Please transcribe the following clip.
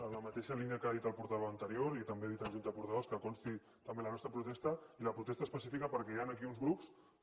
en la mateixa línia que ha dit el portaveu anterior i també dit en junta de portaveus que consti també la nostra protesta i la protesta específica perquè hi han aquí uns grups que